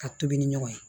Ka tobi ni ɲɔgɔn ye